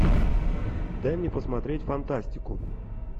дай мне посмотреть фантастику